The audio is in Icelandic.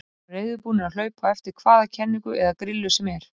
Við vorum reiðubúnir að hlaupa á eftir hvaða kenningu eða grillu sem var.